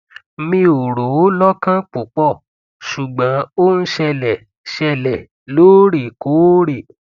mi ò rò ó lọkàn púpọ ṣùgbọn ó ń ṣẹlẹ ṣẹlẹ lóorekoore